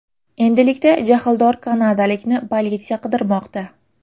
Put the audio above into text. Endilikda jahldor kanadalikni politsiya qidirmoqda.